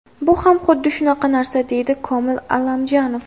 Bu ham xuddi shunaqa narsa”, deydi Komil Allamjonov.